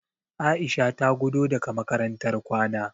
Aisha ta gudo daga makarantar kwana.